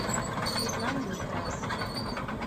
светланы некрасовой